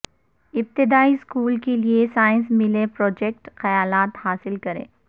ابتدائی اسکول کے لئے سائنس میلے پراجیکٹ خیالات حاصل کریں